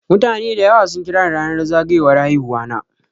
Mutane dayawa sun kirani ranar zagayowar haihuwana.